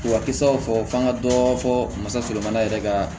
K'u ka kisaw fɔ an ka dɔ fɔ walasa yɛrɛ ka